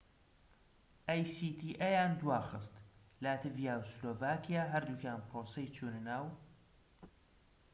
لاتیڤیا و سلۆڤاکیا هەردووکیان پرۆسەی چونەناو actaیان دواخست